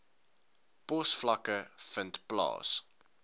posvlakke vind plaas